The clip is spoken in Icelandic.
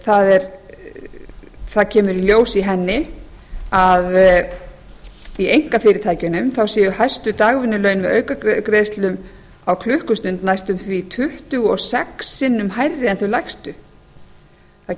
það kemur í ljós í henni að í einkafyrirtækjunum séu hæstu dagvinnulaun með aukagreiðslum á klukkustund næstum því tuttugu og sex sinnum hærri en þau lægstu það